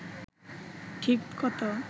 ঠিক কত